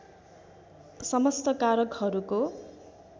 समस्त कारकहरूको